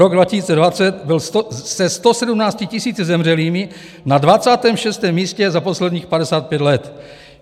Rok 2020 byl se 117 tisíci zemřelými na 26. místě za posledních 55 let.